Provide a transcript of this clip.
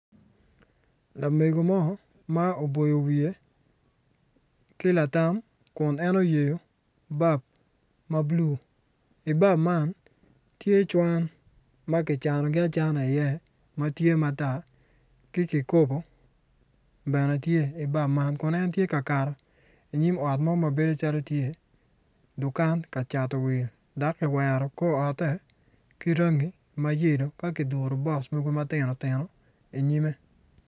Lamego mo ma oboyo wiye ki latam kun en oyeyo bap ma blu ibap man tye cwan ma ki canogi acana i iye matye matar ki kikobo bene tye i bap man kun en tye ka kato inyim ot ma mabedo calo tye dukan ka cato wil ma kiwero kor ote ki rangi ma yelo ka kuduru box mogo matino tino inyime